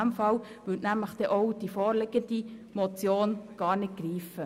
Dann würde die vorliegende Motion gar nicht greifen.